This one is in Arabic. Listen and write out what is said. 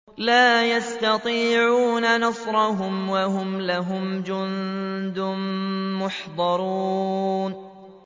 لَا يَسْتَطِيعُونَ نَصْرَهُمْ وَهُمْ لَهُمْ جُندٌ مُّحْضَرُونَ